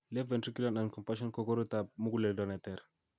Left ventricular noncompation ko koroitab muguleldo neter